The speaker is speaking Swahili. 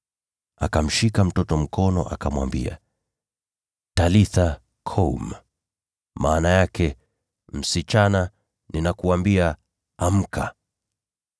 Akamshika mtoto mkono, akamwambia, “Talitha koum!” (maana yake ni, “Msichana, nakuambia: amka!” )